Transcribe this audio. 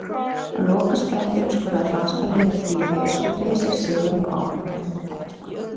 Á lokasprettinum skoraði franska liðið tvívegis og tryggði sér sigurinn og áframhaldandi þátttöku.